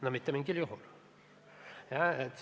No mitte mingil juhul.